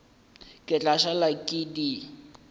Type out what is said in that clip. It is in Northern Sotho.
ke tla šala ke di